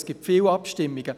Es gibt viele Abstimmungen.